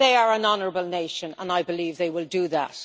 They are an honourable nation and I believe they will do that.